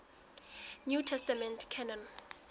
new testament canon